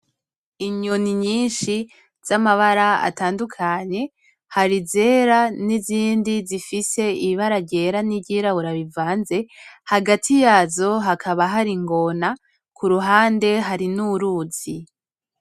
Inyoni nyinshi z’amabara atandukanye, hari izera n’izindi zifise ibara ryera n’iryirabura bivanze. Hagati yazo hakaba hari ingona, ku ruhande hari n’uruzi.